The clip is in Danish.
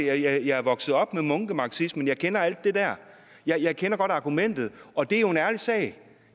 er jeg vokset op med munkemarxismen jeg kender alt det der jeg kender godt argumentet og det er jo en ærlig sag